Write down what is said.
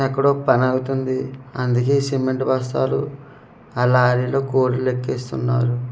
ఎక్కడో పని వెళ్తుంది అందుకే సిమెంట్ బస్తాలు ఆ లారీలో కూలీలు ఎక్కిస్తున్నారు.